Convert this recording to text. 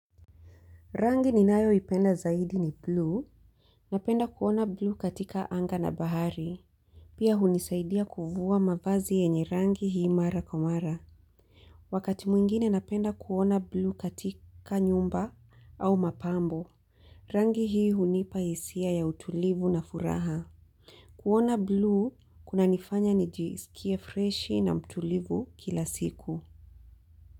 Rangi ni nayo ipenda zaidi ni blue. Napenda kuona blue katika anga na bahari. Pia hunisaidia kuvua mavazi yenye rangi hii mara komara. Wakati mwingine napenda kuona blue katika nyumba au mapambo. Rangi hii hunipa hisia ya utulivu na furaha. Kuona blue kuna nifanya nijisikie fresh na mtulivu kila siku.